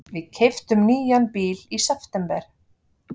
Við keyptum nýjan bíl í september.